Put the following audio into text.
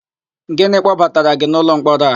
Gịnị kpọbatara gị n'ụlọmkpọrọ a?